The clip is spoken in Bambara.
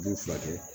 U b'u furakɛ